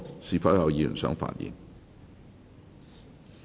是否有議員想發言？